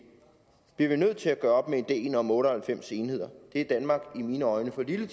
bliver vi nødt til at gøre op med ideen om otte og halvfems enheder det er danmark i mine øjne for lille